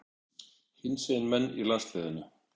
Hinsegin menn í landsliðinu?